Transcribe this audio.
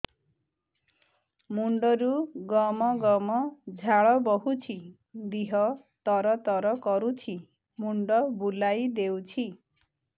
ମୁଣ୍ଡରୁ ଗମ ଗମ ଝାଳ ବହୁଛି ଦିହ ତର ତର କରୁଛି ମୁଣ୍ଡ ବୁଲାଇ ଦେଉଛି